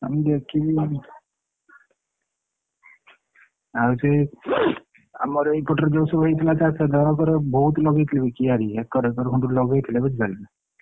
ଆଉ ମୁଁ ଦେଖିକି ଆଉଛି ଆମର ଏଇ ପଟରେ ଯୋଉ ସବୁ ହେଇଥିଲା ଜଣଙ୍କର ବହୁତ କିଆରି ଏକର ଏକର ଲଗେଇଥିଲେ ବୁଝିପାରିଲୁ ନା ।